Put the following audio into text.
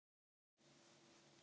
Hann lá eins og slytti.